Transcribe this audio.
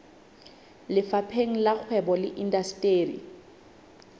lefapheng la kgwebo le indasteri